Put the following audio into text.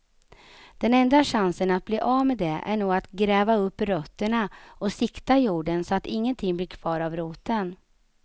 Den enda chansen att bli av med det är nog att gräva upp rötterna och sikta jorden så att ingenting blir kvar av roten.